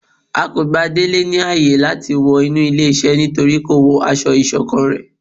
A kò gbà délé ní áye làti wọ inú ilé iṣẹ nítorípé ko wọ aṣọ isokán ré